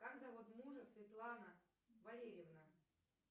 как зовут мужа светлана валерьевна